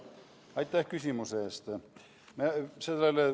Aitäh küsimuse eest!